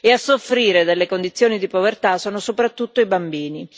A soffrire delle condizioni di povertà sono soprattutto i bambini.